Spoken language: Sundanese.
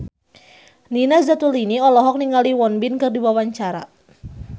Nina Zatulini olohok ningali Won Bin keur diwawancara